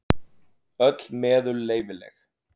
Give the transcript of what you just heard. Öll meðul leyfileg.